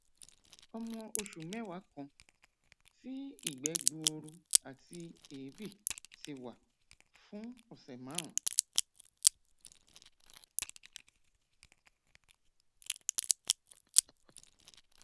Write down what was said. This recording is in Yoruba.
ọmọ oṣù mẹwàá kan tí ìgbẹ gbuuru àti èébì ti wà fún ọsẹ márùnún